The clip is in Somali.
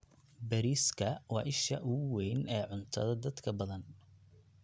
Bariiska waa isha ugu weyn ee cuntada dadka badan.